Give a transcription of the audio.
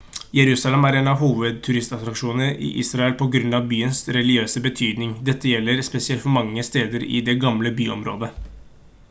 jerusalem er en av hovedturistattraksjonene i israel på grunn av byens religiøse betydning dette gjelder spesielt for mange steder i det gamle byområdet